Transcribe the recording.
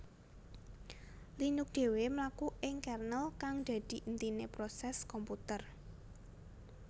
Linux dhéwé mlaku ing kernel kang dadi intiné prosès komputer